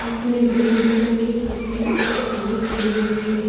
जिसमें green colour की पुती हुई एक सीढ़ी खड़ी हुई है।